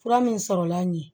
Fura min sɔrɔla n ye